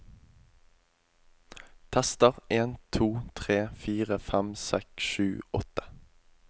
Tester en to tre fire fem seks sju åtte